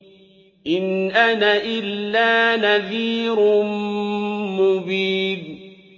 إِنْ أَنَا إِلَّا نَذِيرٌ مُّبِينٌ